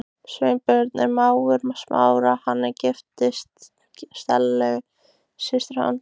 Sveinbjörn er mágur Smára, hann er giftur Stellu systur hans.